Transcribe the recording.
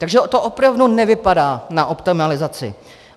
Takže to opravdu nevypadá na optimalizaci.